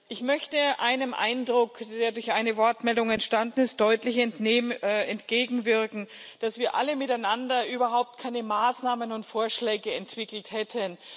Ich möchte einem Eindruck, der durch eine Wortmeldung entstanden ist, deutlich entgegenwirken dass wir alle miteinander überhaupt keine Maßnahmen und Vorschläge entwickelt hätten.